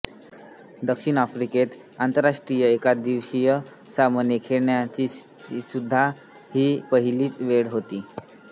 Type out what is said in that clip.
दक्षिण आफ्रिकेत आंतरराष्ट्रीय एकदिवसीय सामने खेळवण्याचीसुद्धा ही पहिलीच वेळ होती